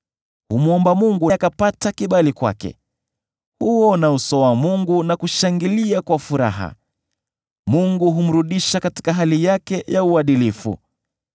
Humwomba Mungu, akapata kibali kwake, huuona uso wa Mungu na kushangilia kwa furaha; Mungu humrudisha katika hali yake ya uadilifu.